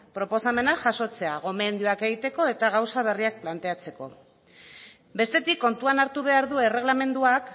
proposamenak jasotzea gomendioak egiteko eta gauza berriak planteatzeko bestetik kontuan hartu behar du erregelamenduak